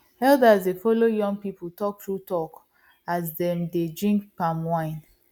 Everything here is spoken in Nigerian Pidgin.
elders dey follow young people talk true talk as dem dey drink palm wine